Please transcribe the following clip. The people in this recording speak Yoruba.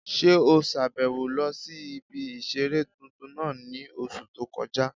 Ṣé o sàbẹ̀wo lọ sí ibi ìseré tuntun náà ní oṣù tó kọjá?